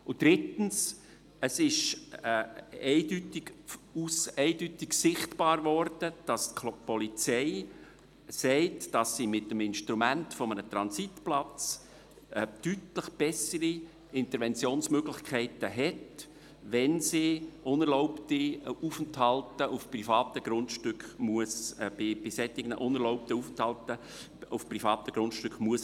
Drittens: Es wurde eindeutig sichtbar, dass die Polizei sagt, mit dem Instrument eines Transitplatzes habe sie deutlich bessere Interventionsmöglichkeiten, wenn sie bei unerlaubten Aufenthalten auf privaten Grundstücken intervenieren muss.